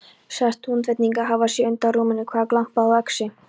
Sagðist Húnvetningur hafa séð undan rúminu hvar glampaði á öxi.